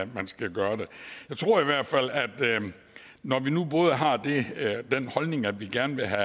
man skal gøre det jeg tror i hvert fald at når vi nu har den holdning at vi gerne vil have